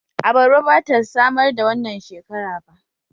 Abarba ba ta samar da wannan shekara ba